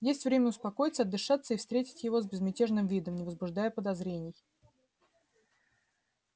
есть время успокоиться отдышаться и встретить его с безмятежным видом не возбуждая подозрений